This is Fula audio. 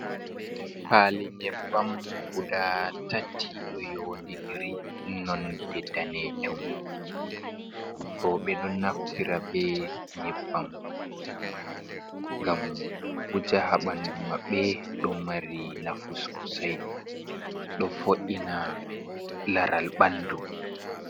Paali nyebbam guda tati ɗoyonidiri nonde danejum. Roɓe ɗon naftira be nyebbam ngam wuja ha ɓandu maɓɓe. Ɗo mari nafu sosai do vo’ina laral ɓandu.